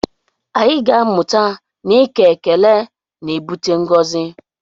Anyị ga-amụta na ike ekele na-ebute ngọzi